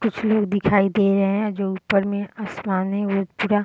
कुछ लोग दिखाई दे रहे है जो ऊपर में आसमान पूरा --